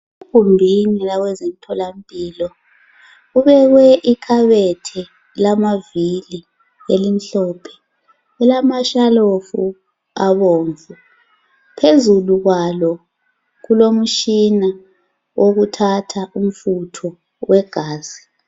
Egumbini lezemtholampilo kubekwe ikhabethe lamavili elimhlophe lilamashalofu abomvu phezulu kwalo kulomtshina wokuthatha umfutho wegazi.